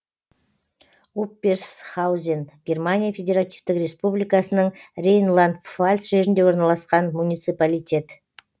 упперсхаузен германия федеративтік республикасының рейнланд пфальц жерінде орналасқан муниципалитет